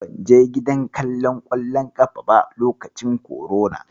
Ban je gidan kallon ƙwallon ƙafa ba lokacin korona.